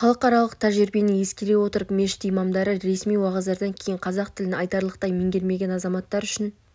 халықаралық тәжірибені ескере отырып мешіт имамдары ресми уағыздардан кейін қазақ тілін айтарлықтай меңгермеген азаматтар үшін